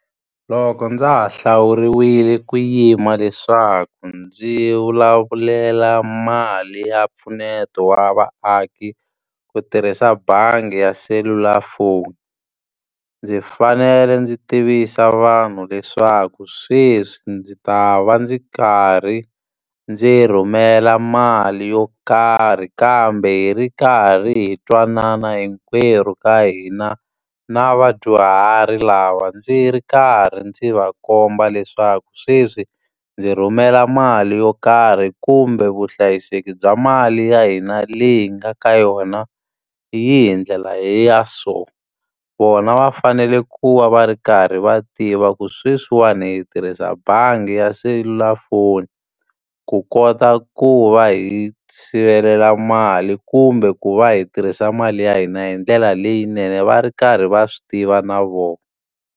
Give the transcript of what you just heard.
Loko ndza ha hlawuriwile ku yima leswaku ndzi vulavulela mali ya mpfuneto wa vaaki, ku tirhisa bangi ya selulafoni. Ndzi fanele ndzi tivisa vanhu leswaku sweswi ndzi ta va ndzi karhi ndzi rhumela mali yo karhi, kambe hi ri karhi hi twanana hinkwerhu ka hina. Na vadyuhari lava ndzi ri karhi ndzi va komba leswaku sweswi, ndzi rhumela mali yo karhi kumbe vuhlayiseki bya mali ya hina leyi hi nga ka yona, yi hi ndlela ya so. Vona va fanele ku va va ri karhi va tiva ku sweswiwani hi tirhisa bangi ya selulafoni, ku kota ku va hi sivelela mali kumbe ku va hi tirhisa mali ya hina hi ndlela leyinene, va ri karhi va swi tiva na vona.